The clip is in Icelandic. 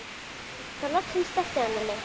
Þá loksins sleppti hann henni.